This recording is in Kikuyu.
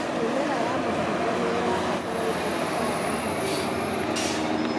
Mĩmera ya matunda nĩĩrabatara ũtungata wa mahinda kwa mahinda